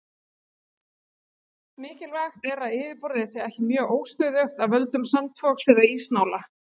Mikilvægt er að yfirborðið sé ekki mjög óstöðugt af völdum sandfoks eða ísnála.